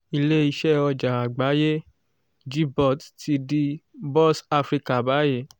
ilé iṣẹ́ ọjà àgbáyé gbot ti di bourse africa báyìí